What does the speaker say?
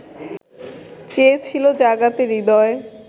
চেয়েছিলো জাগাতে হৃদয়